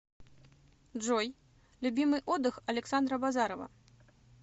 джой любимый отдых александа базарова